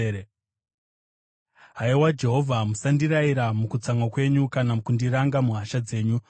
Haiwa Jehovha, musandirayira mukutsamwa kwenyu kana kundiranga muhasha dzenyu.